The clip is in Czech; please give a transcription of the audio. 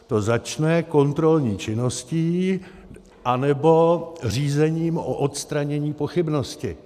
To začne kontrolní činností, anebo řízením o odstranění pochybnosti.